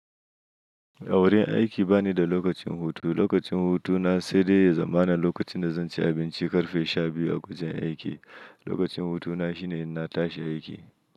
Awurin aiki bani da lokacin hutu. Lokacin hutuna sai dai ya zama na lokacin da zan ci abinci ƙarfe sha biyu a wajen aiki. Lokacin hutuna shine ina tashi aiki.